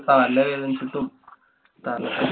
തല വേദനിച്ചിട്ടും. തല~